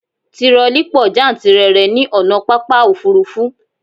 Tirọlí pọ jántìrere ní ònà pápá òfurufú